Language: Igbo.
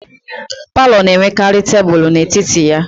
Palọ na-enwekarị tebulu n'etiti ya